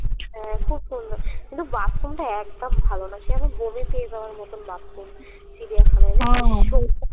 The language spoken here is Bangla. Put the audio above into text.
হ্যাঁ খুব সুন্দর কিন্তু bathroom টা একদম ভালো না সে এমন বমি পেয়ে যাওয়ার মতোন bathroom চিড়িয়াখানায়